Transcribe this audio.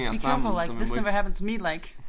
Be careful like this never happened to me like